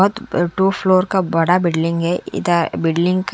अब two floor का बड़ा बिल्डिंग हे इधर बिल्डिंग --